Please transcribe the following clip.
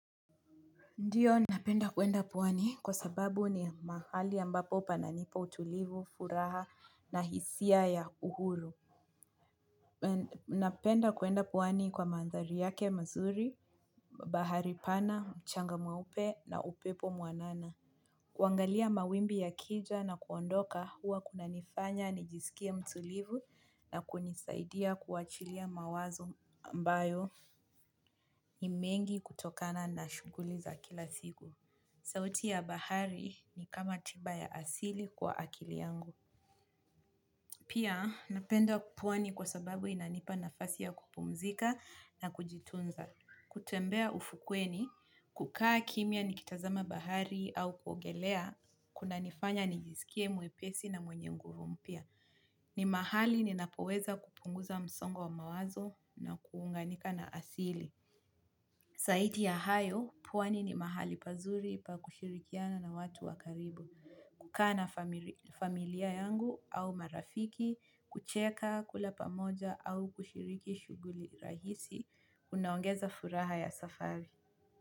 Ndiyo napenda kuenda pwani kwa sababu ni mahali ambapo pananipa utulivu, furaha na hisia ya uhuru. Napenda kuenda pwani kwa mandhari yake mazuri, bahari pana, mchanga mweupe na upepo mwanana. Kuangalia mawimbi yakija na kuondoka huwa kuna nifanya nijisikie mtulivu na kunisaidia kuachilia mawazo ambayo ni mengi kutokana na shughuli za kila siku. Sauti ya bahari ni kama tiba ya asili kwa akili yangu. Pia napenda pwani kwa sababu inanipa nafasi ya kupumzika na kujitunza. Kutembea ufukweni, kukaa kimya nikitazama bahari au kuogelea, kuna nifanya nijisikie mwepesi na mwenye nguvu mpya. Ni mahali ninapoweza kupunguza msongo wa mawazo na kuunganika na asili. Zaidi ya hayo pwani ni mahali pazuri pa kushirikiana na watu wa karibu. Kukaa na familia yangu au marafiki, kucheka, kula pamoja au kushiriki shughuli rahisi, unaongeza furaha ya safari.